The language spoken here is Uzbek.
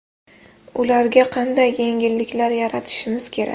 Ularga qanday yengilliklar yaratishimiz kerak?